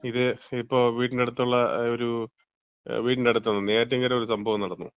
ഇതേ ഇപ്പം വീടിന് റെ അടുത്തുള്ള ഒരു വീടിന്‍റെ അടുത്തല്ല, നെയ്യാറ്റിൻകര ഒരു സംഭവം നടന്നു.